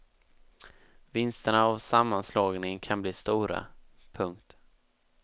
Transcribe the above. Vinsterna av sammanslagningen kan bli stora. punkt